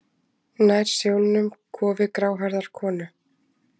Nær sjónum kofi gráhærðrar konu.